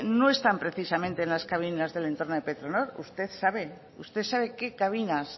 no están precisamente en las cabinas del entorno de petronor usted sabe qué cabinas